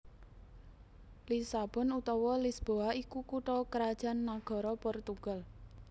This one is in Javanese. Lisabon utawa Lisboa iku kutha krajan nagara Portugal